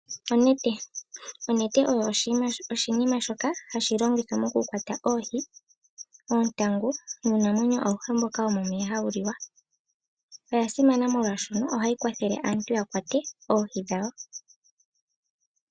Onete, Onete oyo oshinima shoka hashi longithwa mo ku kwata oohi, oontangu nuunamwenyo awuhe mboka wo mo meya ha wu liwa. Oya simana molwaashoka ohayi kwathele aantu yakwate oohi dhawo odhindji pethimbo limwe.